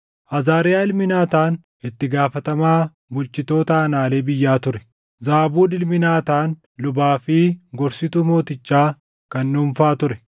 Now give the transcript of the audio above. Azaariyaa ilmi Naataan itti gaafatamaa bulchitoota aanaalee biyyaa ture; Zaabuud ilmi Naataan lubaa fi gorsituu mootichaa kan dhuunfaa ture;